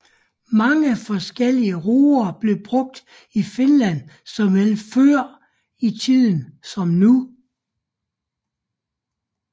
Mange forskellige roer blev brugt i Finland såvel før i tiden som nu